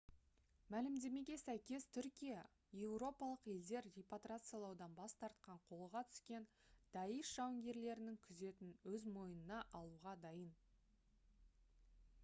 мәлімдемеге сәйкес түркия еуропалық елдер репатриациялаудан бас тартқан қолға түскен даиш жауынгерлерінің күзетін өз мойнына алуға дайын